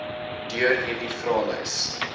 deur hierdie vraelys